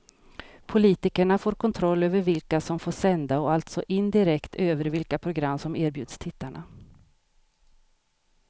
Politikerna får kontroll över vilka som får sända och alltså indirekt över vilka program som erbjuds tittarna.